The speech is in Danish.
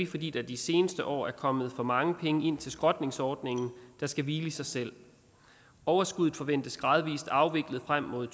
fordi der i de seneste år er kommet for mange penge ind til skrotningsordningen der skal hvile i sig selv overskuddet forventes gradvis afviklet frem mod